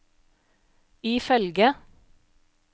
ifølge